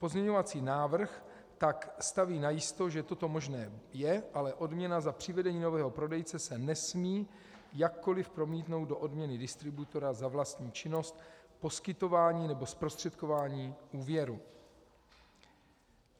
Pozměňovací návrh tak staví najisto, že toto možné je, ale odměna za přivedení nového prodejce se nesmí jakkoli promítnout do odměny distributora za vlastní činnost poskytování nebo zprostředkování úvěru.